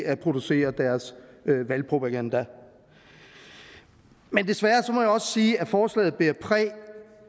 at producere deres valgpropaganda men desværre må jeg også sige at forslaget bærer præg af